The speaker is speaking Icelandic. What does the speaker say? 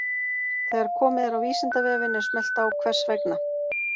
Þegar komið er á Vísindavefinn er smellt á Hvers vegna?